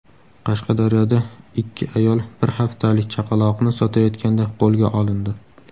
Qashqadaryoda ikki ayol bir haftalik chaqaloqni sotayotganda qo‘lga olindi.